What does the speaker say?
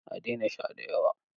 A daina sha da yawa.